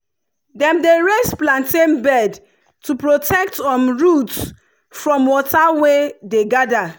dem dey raise plantain bed to protect um root from water wey dey gather.